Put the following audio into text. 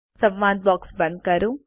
સંવાદ બોક્સ બંધ કરો